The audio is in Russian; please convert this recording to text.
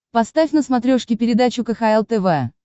поставь на смотрешке передачу кхл тв